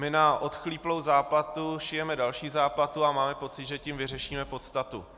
My na odchlíplou záplatu šijeme další záplatu a máme pocit, že tím vyřešíme podstatu.